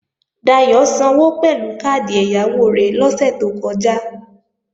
Dayò sanwó pẹ̀lú káàdì ẹ̀yáwó rẹ̀ lọ́sè tó kọjá